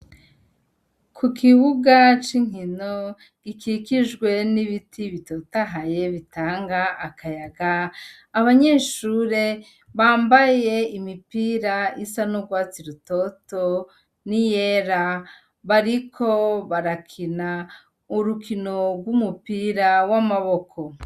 Ku kibuga c'inkino gikikijwe n'ibiti bitotahaye bitanga akayaga abanyeshure bambaye imipira isa no gwatsi rutoto ni yera bariko barakina urukinorw'umupira awe amaboko.